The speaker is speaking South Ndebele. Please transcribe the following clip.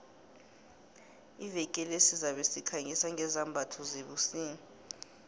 iveke le sizabe sikhangisa ngezambatho zebusika